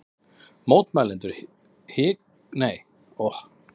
Mótmælendur hvika hvergi